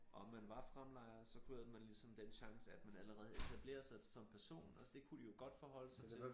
Om man var fremlejer så havde man ligesom den chance at man allerede havde etableret sig som person og det kunne de jo godt forholde sig til